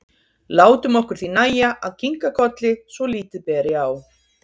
Látum okkur því nægja að kinka kolli svo lítið beri á.